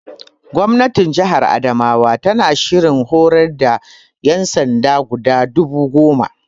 Gwamnatin Jihar Adamawa tana shirin horar da ƴansanda guda dubu goma